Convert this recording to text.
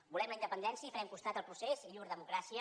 volem la independència i farem costat al procés i llur democràcia